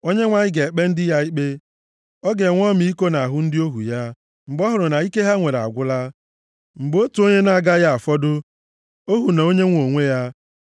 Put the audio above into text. Onyenwe anyị ga-ekpe ndị ya ikpe, ọ ga-enwe ọmịiko nʼahụ ndị ohu ya, mgbe ọ hụrụ na ike ha nwere agwụla, mgbe otu onye na-agaghị afọdụ, ohu na onye nwe onwe ya.